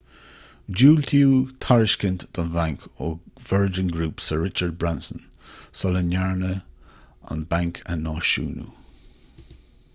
diúltaíodh tairiscint don bhanc ó virgin group sir richard branson sula ndearnadh an banc a náisiúnú